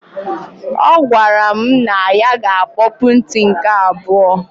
Ọ gwara m na ya ga akpọpụ nti nke abụọ.